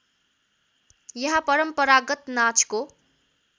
यहाँ परम्परागत नाचको